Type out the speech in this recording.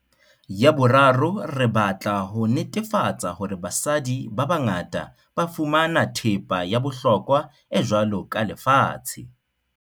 Ya boraro, re batla ho netefa-tsa hore basadi ba bangata ba fumana thepa ya bohlokwa e jwalo ka lefatshe.